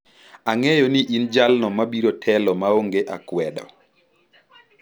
Ang'eyo ni in jalno mabiro telo maonge akwedo.